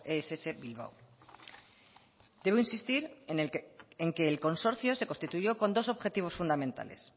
ess bilbao debo insistir en que el consorcio se constituyó con dos objetivos fundamentales